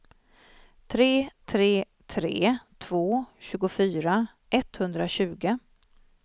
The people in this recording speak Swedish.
tre tre tre två tjugofyra etthundratjugo